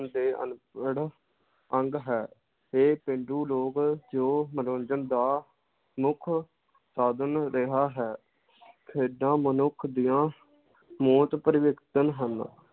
ਦੇ ਅਨਪੜ ਅੰਗ ਹੈ ਤੇ ਪੇਂਡੂ ਲੋਕ ਜੋ ਮਨੋਰੰਜਨ ਦਾ ਮੁਖ ਸਾਧਨ ਰਿਹਾ ਹੈ ਖੇਡਾਂ ਮਨੁੱਖ ਦੀਆਂ ਮੌਤ ਹਨ l